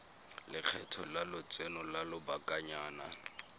lekgetho la lotseno lwa lobakanyana